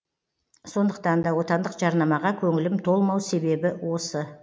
сондықтан да отандық жарнамаға көңілім толмау себебі осы